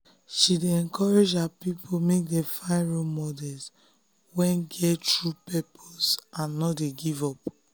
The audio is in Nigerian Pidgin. she dey encourage her people make dem find role models wey get true purpose and no dey give up.